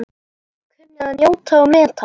Kunni að njóta og meta.